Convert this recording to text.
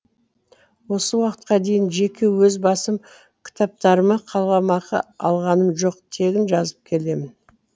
осы уақытқа дейін жеке өз басым кітаптарыма қаламақы алғаным жоқ тегін жазып келемін